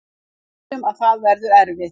Við vitum að það verður erfitt